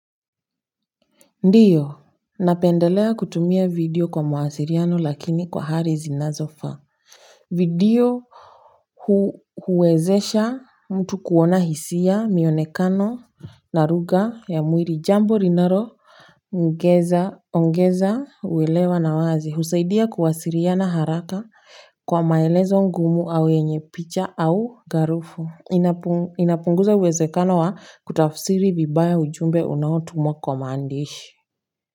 Ndiyo, napendelea kutumia video kwa mawasiliano lakini kwa hali zinazofaa. Video huwezesha mtu kuona hisia, mionekano na lugha ya mwili, jambo linaloongeza, ongeza uwelewa na wazi husaidia kuwasiliana haraka kwa maelezo ngumu au yenye picha au garufu inapunguza uwezekano wa kutafsiri vibaya ujumbe unaotumwa kwa maandishi.